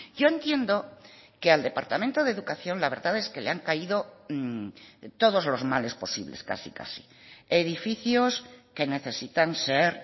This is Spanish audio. yo entiendo que al departamento de educación la verdad es que le han caído todos los males posibles casi casi edificios que necesitan ser